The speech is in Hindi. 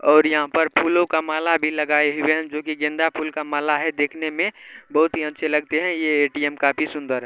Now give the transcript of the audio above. और यहाँ पर फूलों का माला भी लगाएं हुए हैं जोकि गेंदा फूलों का माला है देखने में बहुत ही अच्छे लगतें हैं ये ए_टी_एम काफी सुन्दर है ।